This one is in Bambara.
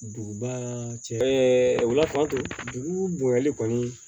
Duguba cɛ wula fɛ dugu bonyali kɔni